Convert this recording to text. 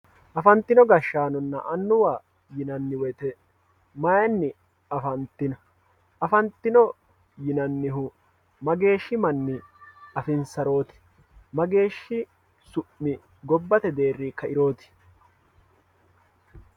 Afantino gashanona anuwa yinemo woyite mayini afantino afantino yinanihu mageeshi mani afinsaroti mageeshi su`mi gobbate deeri kairooti.